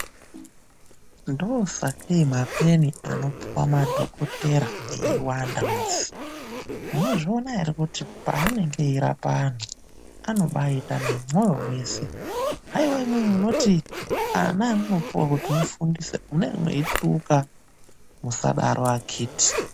Ndosakei mapeni anopuwa madhokotera eiwanda musi. Munozviona here kuti paanenge eirapa antu, anombaita nemoyo wese. Aiwa imwimwi munoti ana amunopiwa kuti mufundise, mune mweituka. Musadaro vakiti.